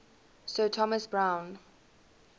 sir thomas browne